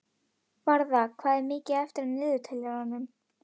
Varða, hvað er mikið eftir af niðurteljaranum?